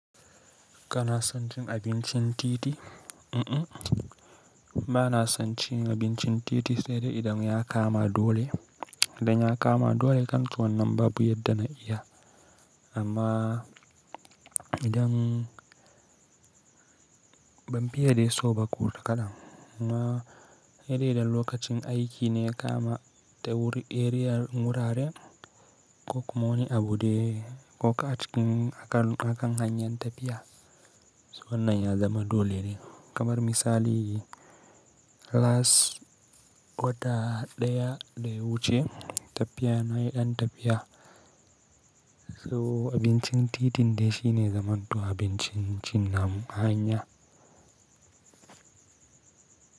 Kana son cin abincin titi? Mm-mm, ba na son cin abincin titi sai dai idan ya kama dole. Idan ya kama dole zan ci wannan babu yadda na iya, amma idan ban fiye dai so ba, ku takalan. Na hedai idan lokacin aiki ne ya kama ta wuri, eriyar wuraren ko kuma wani abu dai ko a cikin akan, akan hanyar tafiya. So wannan ya zama dole ne kamar misali Las wata ɗaya da wuce tafiya na yi ɗan tafiya. So abincin titin dai shi ne ya zaman to abincin cin namu a hanya.